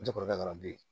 N cɛ kɔrɔkɛ dɔrɔn bi